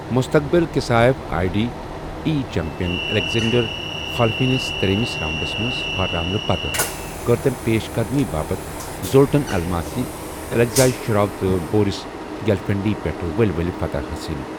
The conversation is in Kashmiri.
مُستقبِل کِسایف آیہ ڈی ایی چیمپِین ایٚلیٚکزینٛڈر خالِفمینس ترٛیٚیِمِس راوُنٛڈس منٛز ہراونہٕ پتہٕ، کٔر تمہِ پیش قدمی باپت زولٹَن الماسی، ایٚلکزایہ شِراو، تہٕ بورِس گیٚلفینٛڈس پیٹھ ؤلہِ ؤلہِ فتح حٲصِل۔